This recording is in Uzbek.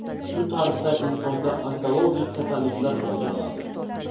Shu tarzda insonda onkologik kasalliklar rivojlanadi.